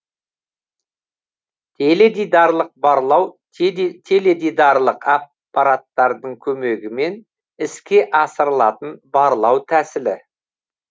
теледидарлық барлау теледидарлық аппараттардың көмегімен іске асырылатын барлау тәсілі